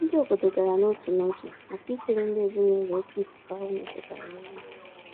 Ndị obodo gara n'otu n'otu màkà isiri ndị ezinụlọ oké ifufe ahụ metụtara nri.